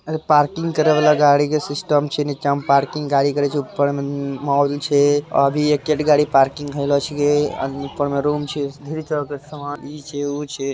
ये गाड़ी पार्किंग करने का सिस्टम नीचे है गाड़ी दुकान में ऊपर मॉल है अभी एक ही गाड़ी दुकान में ऊपर कमरा है।